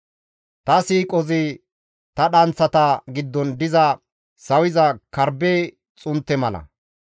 Ta siiqozi ta dhanththata giddon diza sawiza karbbe xuntte mala.